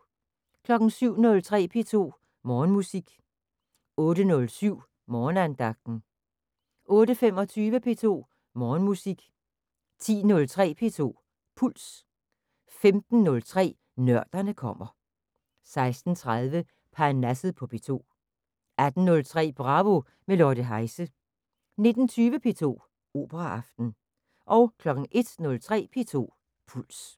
07:03: P2 Morgenmusik 08:07: Morgenandagten 08:25: P2 Morgenmusik 10:03: P2 Puls 15:03: Nørderne kommer 16:30: Parnasset på P2 18:03: Bravo – med Lotte Heise 19:20: P2 Operaaften 01:03: P2 Puls